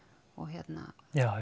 hérna